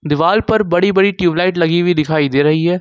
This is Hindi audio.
दीवाल पर बड़ी बड़ी ट्यूबलाइट लगी हुई दिखाई दे रही है।